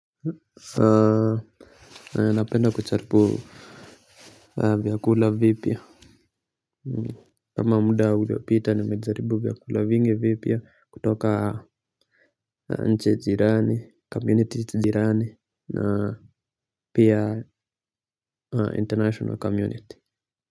Napenda kujaribu vyakula vipya. Kama muda ulopita nimejaribu vyakula vingi vipya kutoka nchi jirani, 'community' jirani, pia 'international community'.